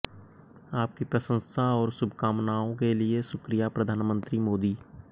आपकी प्रशंसा और शुभकामनाओं के लिए शुक्रिया प्रधानमंत्री मोदी